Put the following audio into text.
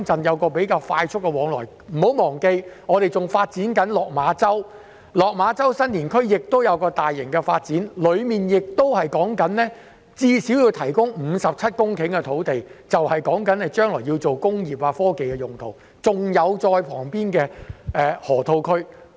大家不要忘記，香港仍在發展落馬洲，落馬洲新田區也會有大型發展，當中最少要提供57公頃土地用作未來發展工業及科技，而旁邊就是河套區。